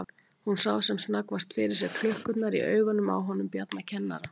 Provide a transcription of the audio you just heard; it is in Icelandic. Hún sá sem snöggvast fyrir sér klukkurnar í augunum á honum Bjarna kennara.